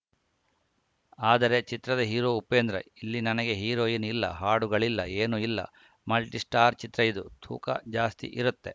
ಆದರೆ ಚಿತ್ರದ ಹೀರೋ ಉಪೇಂದ್ರ ಇಲ್ಲಿ ನನಗೆ ಹೀರೋಯಿನ್‌ ಇಲ್ಲ ಹಾಡುಗಳಿಲ್ಲ ಏನೂ ಇಲ್ಲ ಮಲ್ಟಿಸ್ಟಾರ್‌ ಚಿತ್ರ ಇದು ತೂಕ ಜಾಸ್ತಿ ಇರತ್ತೆ